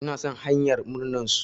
Ina son hanyar murnar su.